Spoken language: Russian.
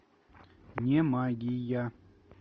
не магия